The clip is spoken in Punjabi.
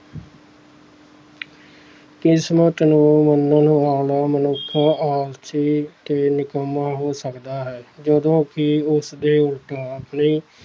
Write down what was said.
ਕਿਸਮਤ ਨੂੰ ਮੰਨਣ ਵਾਲਾ ਮਨੁੱਖ ਆਲਸੀ ਤੇ ਨਿਕੰਮਾ ਹੋ ਸਕਦਾ ਹੈ ਜਦੋਂ ਕਿ ਉਸਦੇ ਉਲਟਾ